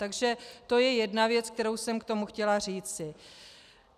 Takže to je jedna věc, kterou jsem k tomu chtěla říci.